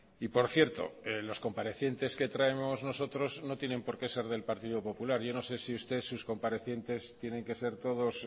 y por cierto los comparecientes que traemos nosotros no tienen por qué ser del partido popular yo no sé si usted sus comparecientes tienen que ser todos